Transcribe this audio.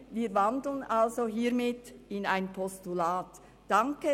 Wir wandeln also hiermit in ein Postulat um.